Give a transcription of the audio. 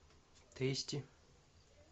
тэсти